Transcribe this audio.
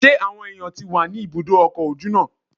Ṣé àwọn èèyàn tí wà ní ibùdó ọkọ̀ ojú náà?